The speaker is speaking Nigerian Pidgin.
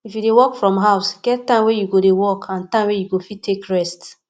if you dey work from house get time wey you dey work and time wey you fit take rest